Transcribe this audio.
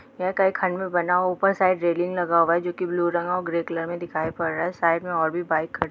यह कई खंड में बना ऊपर रेलिंग लगा हुआ है जो की ब्लू रंग और ग्रे कलर में दिख पड़ रहा है| साइड मे और भी बाइक खड़ी --